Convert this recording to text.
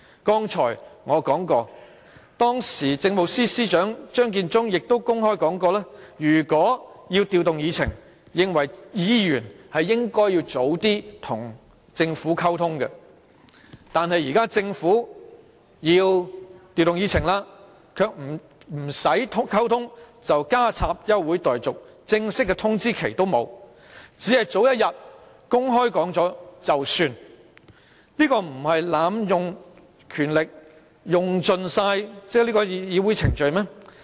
剛才我說到當時的政務司司長張建宗亦公開說過，認為如果要調動議程，議員便應該提早與政府溝通；但現時政府要調動議程，卻不用溝通便提出休會待續議案，連正式的通知期也沒有，只是早一天公布了便算，這不是濫用權力、濫盡議會程序嗎？